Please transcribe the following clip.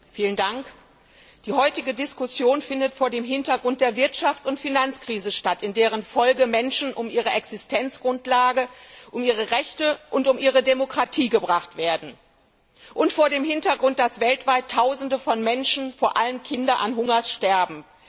Herr Präsident! Die heutige Diskussion findet vor dem Hintergrund der Wirtschafts und Finanzkrise statt, in deren Folge Menschen um ihre Existenzgrundlage, um ihre Rechte und um ihre Demokratie gebracht werden, und vor dem Hintergrund, dass weltweit Tausende von Menschen, vor allem Kinder, hungers sterben.